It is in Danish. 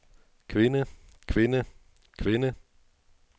kvinde kvinde kvinde